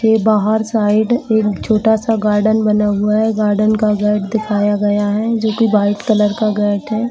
यह बाहर साइड एक छोटा सा गार्डन बना हुआ है गार्डन का गेट दिखाया गया है जो कि व्हाइट कलर का--